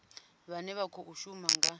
vhane vha khou shuma nga